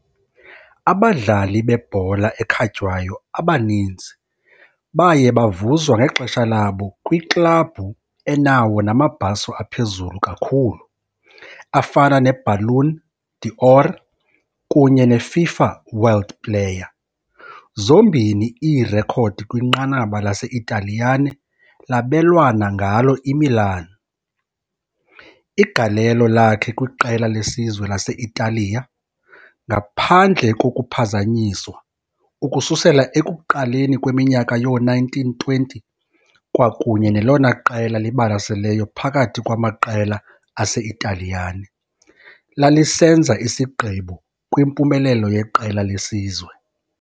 Abadlali bebhola ekhatywayo abaninzi baye bavuzwa ngexesha labo kwiklabhu enawo namabhaso aphezulu kakhulu, afana neBallon d'Or kunye neFIFA World Player. Zombini iirekhodi kwinqanaba lase-Italiyane labelwana ngalo IMilan, igalelo lakhe kwiqela lesizwe lase-Italiya, ngaphandle kokuphazanyiswa ukususela ekuqaleni kweminyaka yoo-1920 kwakunye nelona qela libalaseleyo phakathi kwamaqela ase-Italiyane, lalisenza isigqibo kwimpumelelo yeqela lesizwe.